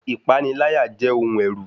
Ìpaniláyà jẹ́ ohun ẹ̀rù